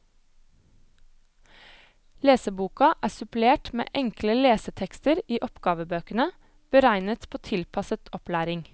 Leseboka er supplert med enkle lesetekster i oppgavebøkene, beregnet på tilpasset opplæring.